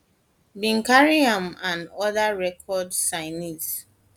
bin carry am and oda record record signees